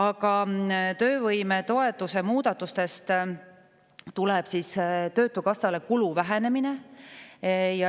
Aga töövõimetoetuse muudatuste järel töötukassa kulu väheneb.